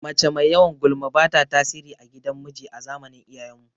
Mace mai yawan gulma bata tasiri a gidan miji a zamanin iyayen mu